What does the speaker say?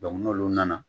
n'olu nana